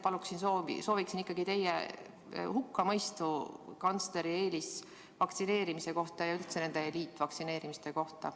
Ja endiselt sooviksin teie hukkamõistu kantsleri eelisvaktsineerimise ja üldse nende eliitvaktsineerimiste kohta.